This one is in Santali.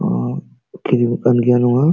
ᱠᱟᱱ ᱜᱤᱭᱟ ᱱᱚᱣᱟ᱾